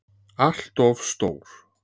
ALLT OF STÓR!